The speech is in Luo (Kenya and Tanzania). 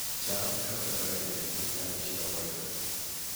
cham ne okethore e ndelni kane chiro ok oyudore